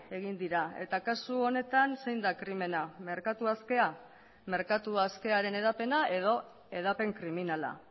egin dira eta kasu honetan zein da krimena merkatu askea merkatu askearen hedapena edo hedapen kriminala